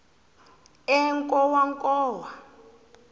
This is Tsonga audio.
enkowankowa